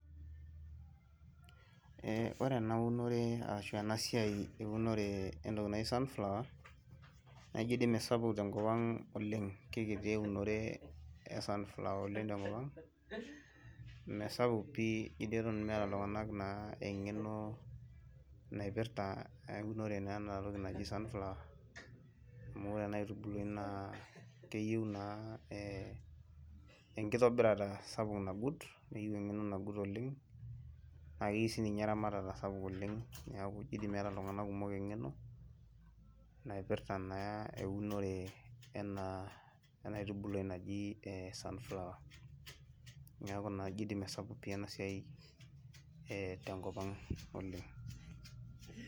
Eeh ore enaunore arash esiai enatoki naji sunflower naijo di mesapuk tenkop aag Oleng kekiti eunore e sunflower tenkop aang mesapuk pii jo atan meeta ltunganak engeno naipirta eunore na enatoki naji sunflower na enkitobirata sapuk nagut nakeyieu sinye eramatara sapuk oleng neaku ijo meeta ltunganak kumok inangeno naipirta na ena aitunului naji sunflower neaku ijo toi masapuk enasia tenkopang oleng'.